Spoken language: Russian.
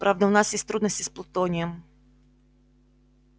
правда у нас есть трудности с плутонием